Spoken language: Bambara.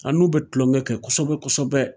An n'u be tulonkɛ kɛ kosɛbɛ kosɛbɛ